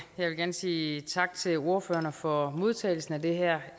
vil gerne sige tak til ordførerne for modtagelsen af det her